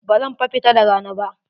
Bazan fa fita da rana ba.